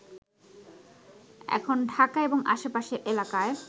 এখন ঢাকা এবং আশেপাশের এলাকায়